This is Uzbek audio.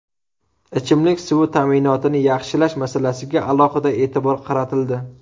Ichimlik suvi ta’minotini yaxshilash masalasiga alohida e’tibor qaratildi.